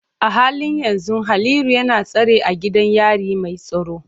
A halin yanzu Haliru yana tsare a gidan yari mai tsaro.